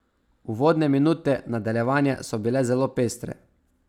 Uvodne minute nadaljevanja so bile zelo pestre.